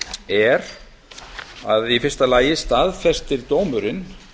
er að í fyrsta lagi staðfestir dómurinn